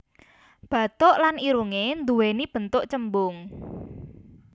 Bathuk lan irungé nduwéni bentuk cembung